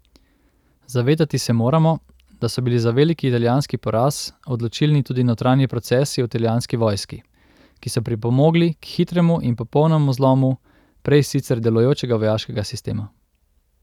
Zavedati se moramo, da so bili za veliki italijanski poraz odločilni tudi notranji procesi v italijanski vojski, ki so pripomogli k hitremu in popolnemu zlomu prej sicer delujočega vojaškega sistema.